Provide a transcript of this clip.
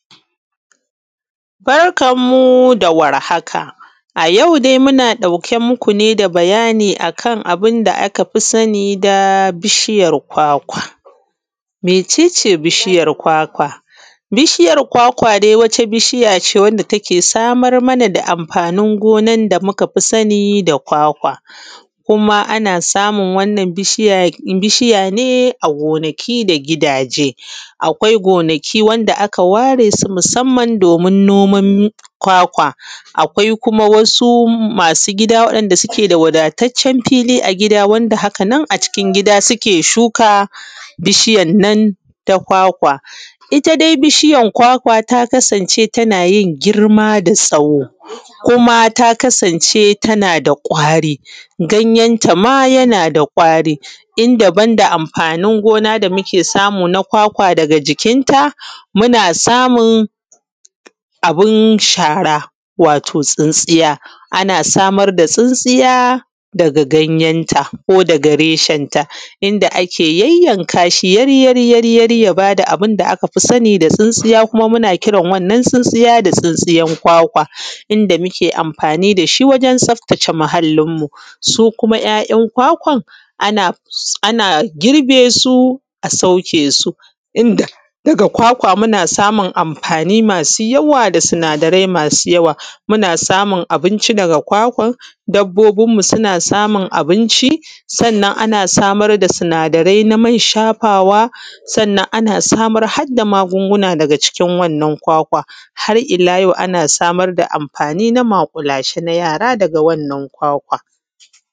Barkan mu da warhaka. A yau muna ɗauke muku da bayani akan abunda akafi sani da bishiyan kwakwa. Mece ce bishiya kwakwa? Bishiyar dai Wata bishiyace wanda take samar mana da amfanin gonan da nukafi sani da kwakwa. Kuma ana samun wannan bishiya ne a gonaki da gidaje. Akwai gonaki wanda aka ware su musamman domin noman kwakwa akai kuma, akwai kuma wasu masu gida wadda suke da wadataccen fili a cikin gida suke shuka wannan bishiyan na kwakwa, itta dai bishiyan kwakwa ta kasance tanayin girma da tsawo kuma ta kasance tanada kwari ganyenta ma yanada kwari inda banda amfanin gona da muke samu daga jikin ta muna samun abun shara wao tsintsiya ba, ana samar da tsintsiya daga ganyen ta ko daga reshen ta inda ake yayyankasi yabada abun da akafi sani da tsintsiya kuma muna kiran wannan tsintsiya da tsintiyan kwakwa, inda muke amfani dashi wajen tsaftace muhallinmu. Su kuma ‘ya’ ‘yan’ kwakwan ana girbe su a sauke su duka kwakwa muna samun amfani masu yawa da sinada da masu yawa, muna samun abinci daga kwakwan dabbobin mu suna samun abinci sannan ana samar da sinadarai na man shafawa sannan an samar hadda magun guna daga cikin wannan kwakwa har’ila yau ana samar da amfani na maƙulashe na yara daga wannan kwakwa.